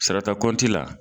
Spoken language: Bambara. Sarata kɔnti la